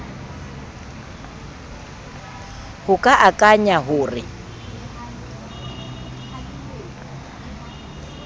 ho ka akanya ho re